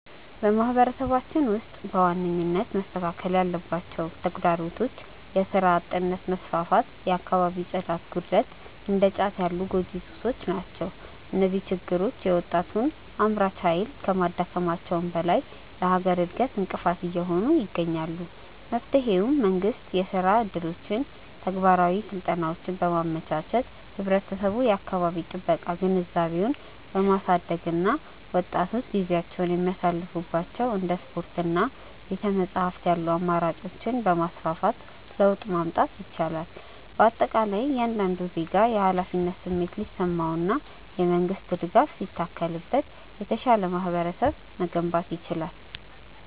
በማህበረሰባችን ውስጥ በዋነኝነት መስተካከል ያለባቸው ተግዳሮቶች የሥራ አጥነት መስፋፋት፣ የአካባቢ ጽዳት ጉድለት እና እንደ ጫት ያሉ ጎጂ ሱሶች ናቸው። እነዚህ ችግሮች የወጣቱን አምራች ኃይል ከማዳከማቸውም በላይ ለሀገር እድገት እንቅፋት እየሆኑ ይገኛሉ። መፍትሄውም መንግስት የሥራ ዕድሎችንና ተግባራዊ ስልጠናዎችን በማመቻቸት፣ ህብረተሰቡ የአካባቢ ጥበቃ ግንዛቤውን በማሳደግ እና ወጣቶች ጊዜያቸውን የሚያሳልፉባቸው እንደ ስፖርትና ቤተ-መጻሕፍት ያሉ አማራጮችን በማስፋፋት ለውጥ ማምጣት ይቻላል። በአጠቃላይ እያንዳንዱ ዜጋ የኃላፊነት ስሜት ሲሰማውና የመንግስት ድጋፍ ሲታከልበት የተሻለ ማህበረሰብ መገንባት ይቻላል።